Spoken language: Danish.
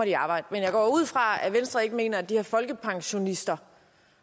i arbejde men jeg går ud fra at venstre ikke mener at de her folkepensionister